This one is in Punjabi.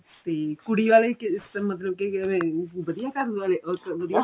ਠੀਕ ਕੁੜੀ ਵਾਲੇ ਵੀ ਮਤਲਬ ਅਹ ਵਧੀਆ ਘਰਵਾਲੇ ਅਹ ਵਧੀਆ